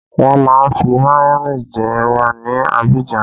Wọn má ń fi mayone jẹ ẹwà ní Abidjan